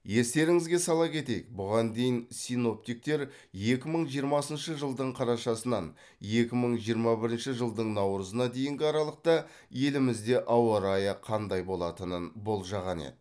естеріңізге сала кетейік бұған дейін синоптиктер екі мың жиырмасыншы жылдың қарашасынан екі мың жиырма бірінші жылдың наурызына дейінгі аралықта елімізде ауа райы қандай болатынын болжаған еді